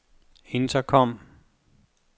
intercom